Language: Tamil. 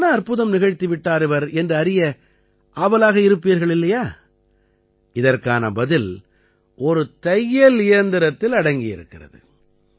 அப்படி என்ன அற்புதம் நிகழ்த்தி விட்டார் இவர் என்று அறிய ஆவலாக இருப்பீர்கள் இல்லையா இதற்கான பதில் ஒரு தையல் இயந்திரத்தில் அடங்கி இருக்கிறது